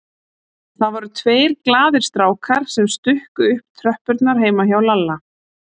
Það voru tveir glaðir strákar sem stukku upp tröppurnar heima hjá Lalla.